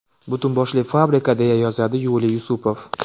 Butun boshli fabrika”, deya yozadi Yuliy Yusupov.